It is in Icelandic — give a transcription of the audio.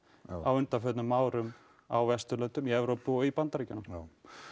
á undanförnum árum á Vesturlöndum í Evrópu og í Bandaríkjunum já